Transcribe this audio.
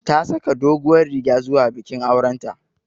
Ta saka doguwar riga zuwa bikin auren ta